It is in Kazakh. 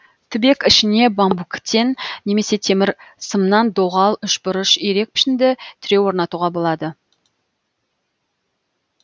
түбек ішіне бамбуктен немесе темір сымнан доғал үшбұрыш ирек пішінді тіреу орнатуға болады